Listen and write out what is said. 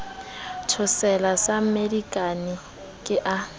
thotsela sa mmedikane ke a